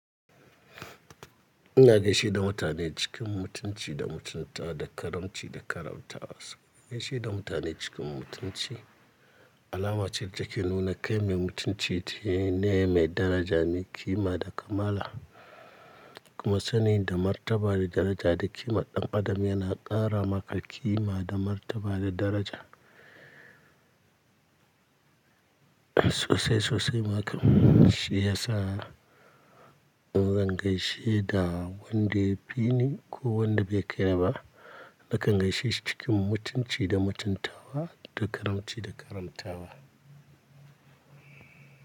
Ina gaishe da mutane cikin mutunci da mutunta da karamci da karamtawa. So gaishe da mutane cikin mutunci alama ce da ke nuna kai mai mutunci ne mai daraja, mai kima da kamala. Kuma sanin da martaba da daraja da kima ɗan adam yana ƙara maka kima da martaba da daraja. Sosai-sosai ma kam shi ya sa in zan gaishe da wanda ya fi ni ko wanda bai kai ni ba, nakan gaishe shi cikin mutunci da mutuntawa da karamci da karamtawa.